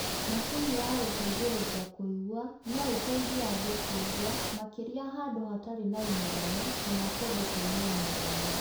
Macini ya gũteithĩrĩria kũigua noĩteithie andũ kũigua makĩria handũ hatarĩ na inegene kana kũndũ kwĩna inegene